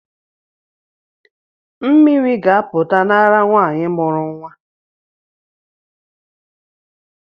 Mmiri ga-apụta n’ara nwanyị mụrụ nwa